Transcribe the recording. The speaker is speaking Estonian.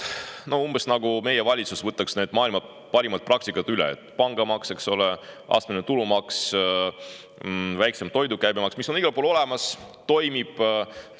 See on umbes nii, nagu meie valitsus võtaks üle maailma parimad praktikad: pangamaks, astmeline tulumaks, väiksem toidu käibemaks, mis on igal pool olemas ja toimib.